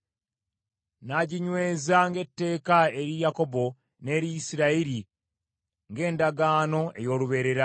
N’aginyweza ng’etteeka eri Yakobo, n’eri Isirayiri ng’endagaano ey’olubeerera,